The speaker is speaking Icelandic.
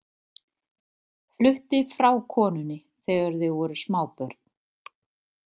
Flutti frá konunni þegar þau voru smábörn.